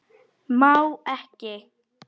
Má ekki.